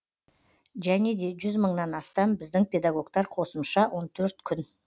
және де жүз мыңнан астам біздің педагогтер қосымша он төрт күн